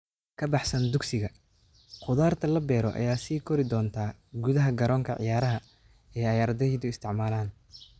Ka baxsan dugsiga, khudaarta la beero ayaa sii kori doonta gudaha garoonka ciyaaraha ee ay ardaydu isticmaalaan.